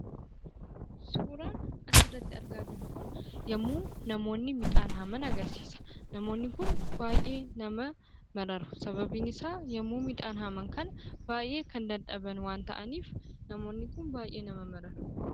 Suuraan asirratti argaa jirru kun, yemmuu namoonni midhaan haaman agarsiisa. Namoonni Kun baayyee nama mararu, sababiin isaa yemmuu midhaan haaman kana baayyee kan dadhaban waan ta'aniif namoonni Kun baayyee nama mararu.